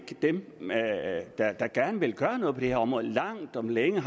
dem der der gerne vil gøre noget på det her område langt om længe